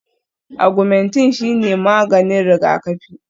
Agwumentin shine maganin rigakafi